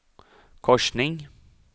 korsning